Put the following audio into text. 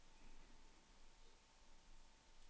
assistentlege